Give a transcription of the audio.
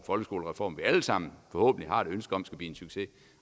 folkeskolereform vi alle sammen forhåbentlig har et ønske om skal blive en succes